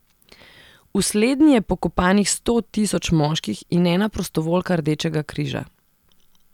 V slednji je pokopanih sto tisoč moških in ena prostovoljka Rdečega križa.